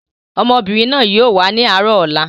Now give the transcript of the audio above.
Ọmọbìnrin náà yìí ó wà ní àárọ̀ ọ̀la.